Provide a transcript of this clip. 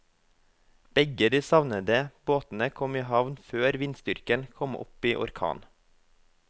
Begge de savnede båtene kom i havn før vindstyrken kom opp i orkan.